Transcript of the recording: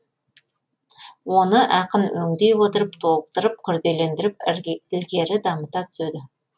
оны ақын өңдей отырып толықтырып күрделендіріп ілгері дамыта түседі